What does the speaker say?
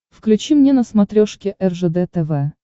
включи мне на смотрешке ржд тв